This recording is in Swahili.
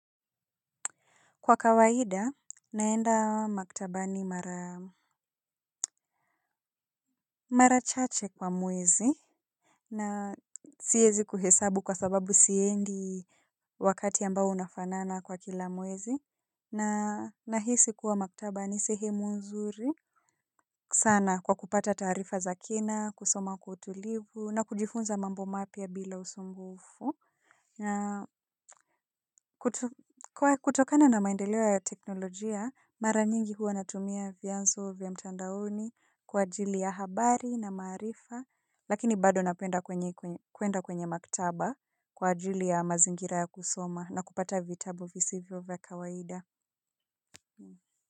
Kwa kawaida, naenda maktaba ni mara chache kwa muwezi. Na siyezi kuhesabu kwa sababu siendi wakati ambao unafanana kwa kila muwezi. Na nahisi kuwa maktaba ni sehemu nzuri sana kwa kupata tarifa za kina, kusoma kwa utulivu na kujifunza mambo mapia bila usumbufu. Na kutokana na maendelewo ya teknolojia, mara nyingi huwa natumia vyanzo vya mtandaoni kwa ajili ya habari na maarifa, lakini bado napenda kuenda kwenye maktaba kwa ajili ya mazingira ya kusoma na kupata vitabu visivyo vya kawaida.